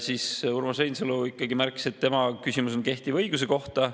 Urmas Reinsalu ikkagi märkis, et tema küsimus on kehtiva õiguse kohta.